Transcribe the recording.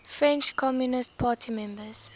french communist party members